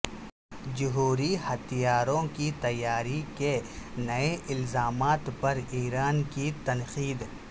جوہری ہتھیاروں کی تیاری کے نئے الزامات پر ایران کی تنقید